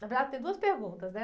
Na verdade, tem duas perguntas, né?